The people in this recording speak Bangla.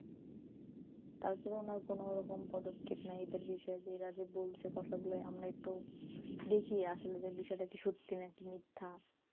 তার পরেও ওনার কোনো রকম পদক্ষেপ নাই এদের বিষয়ে এরা যে বলছে কথা গুলা আমরা একটু দেখি আসলে বিষয় নাকি সত্যি নাকি মিথ্যা,